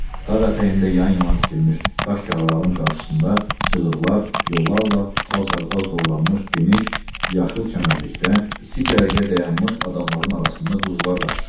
Dağ ətəyində yan-yana tikilmiş daş qağaların qarşısında cığırlar, yollarla çalçarpaz doğranmış geniş, yaşıl çəmənlikdə iki cərgə dayanmış adamların arasında quzular qaçışırdı.